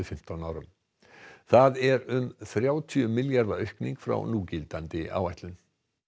fimmtán árum það er um þrjátíu milljarða aukning frá núgildandi áætlun